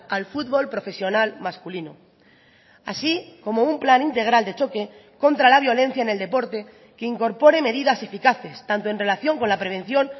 al fútbol profesional masculino así como un plan integral de choque contra la violencia en el deporte que incorpore medidas eficaces tanto en relación con la prevención